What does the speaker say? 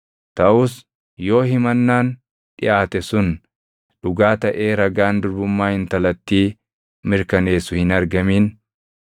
Taʼus yoo himannaan dhiʼaate sun dhugaa taʼee ragaan durbummaa intalattii mirkaneessu hin argamin,